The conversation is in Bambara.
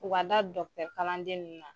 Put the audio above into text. U ka da kalanden ninnu na.